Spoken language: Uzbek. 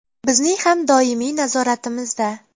Bizning ham doimiy nazoratimizda.